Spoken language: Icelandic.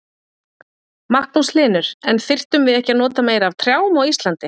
Magnús Hlynur: En þyrftum við ekki að nota meira af trjám á Íslandi?